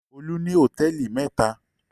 Olú ní hòtẹ́ẹ́lì mẹ́ta.